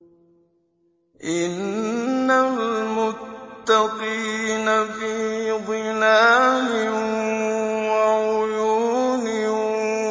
إِنَّ الْمُتَّقِينَ فِي ظِلَالٍ وَعُيُونٍ